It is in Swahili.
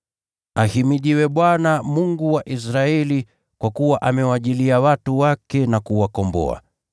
“Ahimidiwe Bwana, Mungu wa Israeli, kwa kuwa amewajilia watu wake na kuwakomboa.